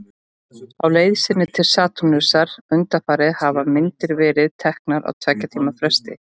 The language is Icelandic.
Á leið sinni til Satúrnusar undanfarið hafa myndir verið teknar á tveggja tíma fresti.